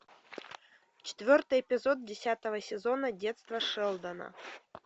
четвертый эпизод десятого сезона детство шелдона